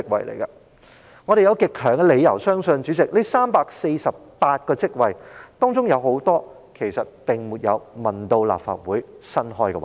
主席，我們有極強理由相信在這348個職位當中，有很多是未經諮詢立法會便增設的職位。